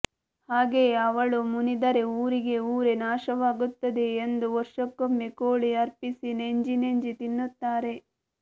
ಹಾಗೆಯೇ ಅವಳು ಮುನಿದರೆ ಊರಿಗೆ ಊರೇ ನಾಶವಾಗುತ್ತದೆ ಎಂದು ವರ್ಷಕ್ಕೊಮ್ಮೆ ಕೋಳಿ ಅರ್ಪಿಸಿ ನೆಂಜಿ ನೆಂಜಿ ತಿನ್ನುತ್ತಾರೆ